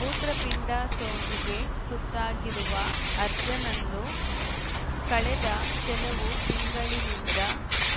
ಮೂತ್ರಪಿಂಡ ಸೋಂಕಿಗೆ ತುತ್ತಾಗಿರುವ ಅಜರ್‌ನನ್ನು ಕಳೆದ ಕೆಲವು ತಿಂಗಳಿನಿಂದ